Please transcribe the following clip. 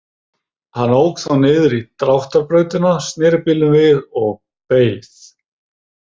Hann ók þá niður í Dráttarbrautina, sneri bílnum við og beið.